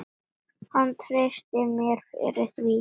Hann treysti mér fyrir því.